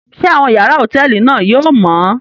Ṣe awọn yàrá hotẹẹli náà yóò mọ?